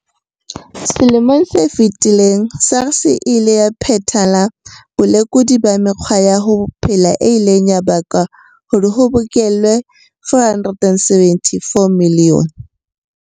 Selemong se fetileng, SARS e ile ya phethela bolekudi ba mekgwa ya ho phela e ileng ya baka hore ho bokellwe 474 milione.